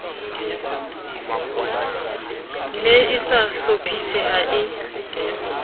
ne e sa hlophiseha e